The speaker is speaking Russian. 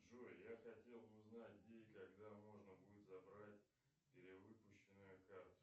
джой я хотел бы узнать где и когда можно будет забрать перевыпущенную карту